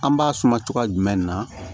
An b'a suma cogoya jumɛn na